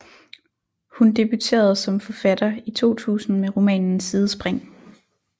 Hun debuterede som forfatter i 2000 med romanen Sidespring